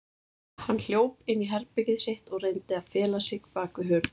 Hann hljóp inn í herbergið sitt og reyndi að fela sig bakvið hurð.